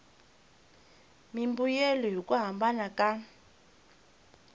mimbuyelo hi ku hambana ka